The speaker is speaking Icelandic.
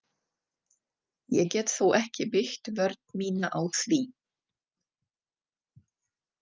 Ég get þó ekki byggt vörn mína á því.